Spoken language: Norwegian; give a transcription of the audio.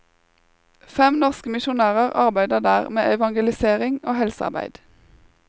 Fem norske misjonærer arbeider der med evangelisering og helsearbeid.